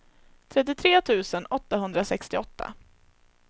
trettiotre tusen åttahundrasextioåtta